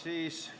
Ei ole.